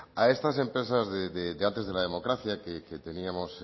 a estas empresas de antes de la democracia que teníamos